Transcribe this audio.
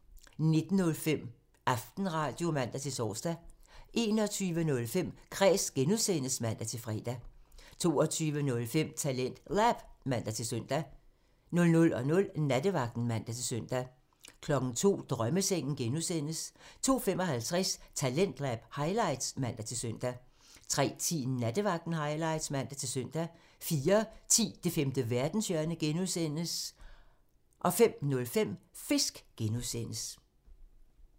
19:05: Aftenradio (man-tor) 21:05: Kræs (G) (man-fre) 22:05: TalentLab (man-søn) 00:00: Nattevagten (man-søn) 02:00: Drømmesengen (G) (man) 02:55: Talentlab highlights (man-søn) 03:10: Nattevagten highlights (man-søn) 04:10: Det femte verdenshjørne (G) (man) 05:05: Fisk (G) (man)